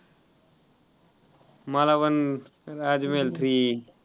मला पण राजमहल three